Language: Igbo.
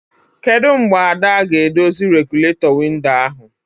Kedụ mgbe Ada ga-edozi regụlatọ windo ahụ?